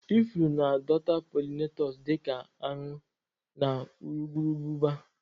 Ifuru na-adọta pollinators dị ka aṅụ na urukurubụba.